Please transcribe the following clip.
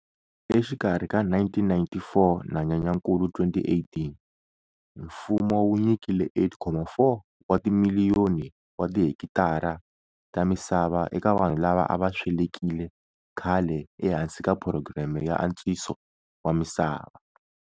Exikarhi ka 1994 na Nyenyakulu 2018 mfumo wu nyikile 8,4 wa timiliyoni wa tihekitara ta misava eka vanhu lava a va swelekile khale ehansi ka phurogireme ya antswiso wa misava.